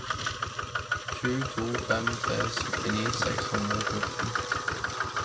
sju to fem tre syttini seks hundre og fjorten